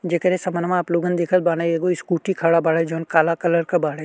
जेकरे समनवा आप लोगन देखत बाड़ै एगो स्कूटी खड़ा बाड़े जौन काला कलर क बाड़े।